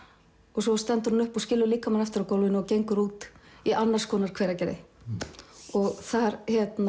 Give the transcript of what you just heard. og svo stendur hún upp og skilur líkamann eftir á gólfinu og gengur út í annars konar Hveragerði þar